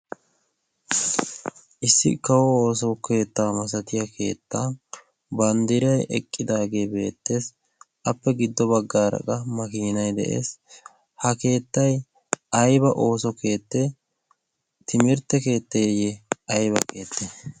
issi kawo ooso keettaa masatiya keettaa banddiray eqqidaagee beettees appe giddo baggaara qa makiinai de'ees ha keettai ayba ooso keettee timirtte keetteeyye ayba keette